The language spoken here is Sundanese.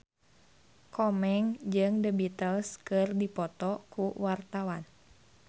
Komeng jeung The Beatles keur dipoto ku wartawan